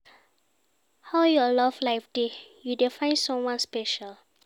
How your love life dey, you dey find someone special?